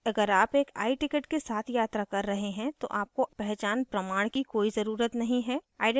अगर आप एक iticket के साथ यात्रा कर रहे हैं तो आपको पहचान प्रमाण की कोई ज़रुरत नहीं है